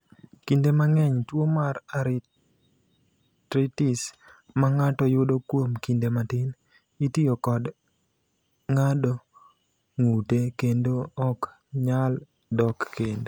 "Kinde mang’eny, tuo mar arteritis ma ng’ato yudo kuom kinde matin, itiyo kod ng’ado ng’ute kendo ok nyal dok kendo."